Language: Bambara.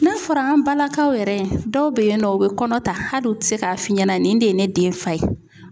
N'a fɔra an balakaw yɛrɛ dɔw be yen nɔ u bɛ kɔnɔ ta hali u tɛ se k'a f'i ɲɛna nin de ye ne den fa ye.